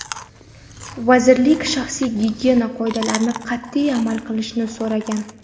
Vazirlik shaxsiy gigiyena qoidalariga qat’iy amal qilishni so‘ragan.